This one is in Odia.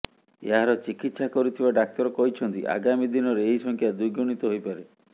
ଏହାର ଚିକିତ୍ସା କରୁଥିବା ଡାକ୍ତର କହିଛନ୍ତି ଆଗାମୀ ଦିନରେ ଏହି ସଂଖ୍ୟା ଦ୍ୱିଗୁଣିତ ହୋଇପାରେ